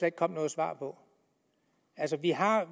ikke kom noget svar på